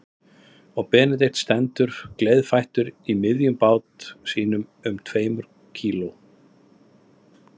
Og Benedikt stendur gleiðfættur í miðjum bát sínum um tveimur kíló